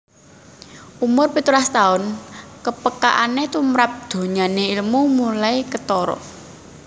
Umur pitulas taun kepekaane tumrap donyane ilmu mulai ketara